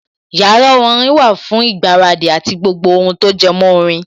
Yàrá orin wà fún ìgbáradì àti gbogbo ohun tí ó jẹmọ́ orin